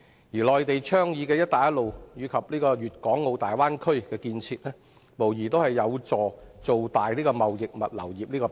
而內地倡議的"一帶一路"，以及粵港澳大灣區建設，無疑有助造大貿易物流業這個餅。